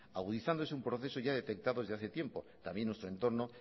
agudizándose un proceso ya detectado desde hace tiempo también en nuestro entorno